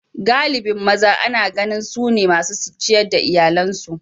galibin maza Ana ganin su ne masu ciyar da iyalansu